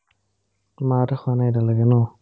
মাহঁতে খোৱা নাই এতিয়ালৈকে ন ?